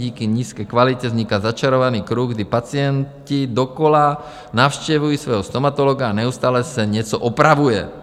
Díky nízké kvalitě vzniká začarovaný kruh, kdy pacienti dokola navštěvují svého stomatologa a neustále se něco opravuje.